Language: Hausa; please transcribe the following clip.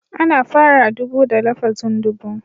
Ana fara ɗubu da lafazin (dubu)